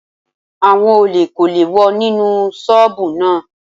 Àwọn olè kò lè wọ inú ṣọ́bùù náà.